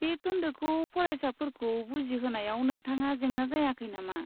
बे खोन्दोखौ फरायसाफोरखौ बुजिहोनायाव नोंथांहा जेंना जायाखै नामा?